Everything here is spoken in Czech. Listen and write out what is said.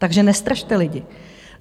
Takže nestrašte lidi.